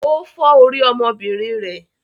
Ó fọ́ orí ọmọọbìnrin rẹ̀?